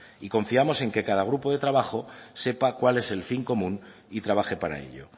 y confiamos en que cada grupo de trabajo sepa cuál es el fin común y trabaje para ello